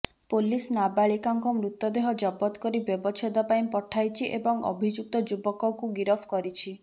police ନାବାଳିକାଙ୍କ ମୃତଦେହ ଜବତ କରି ବ୍ୟବଛେଦ ପାଇଁ ପଠାଇଛି ଏବଂ ଅଭିଯୁକ୍ତ ଯୁବକକୁ ଗିରଫ କରିଛି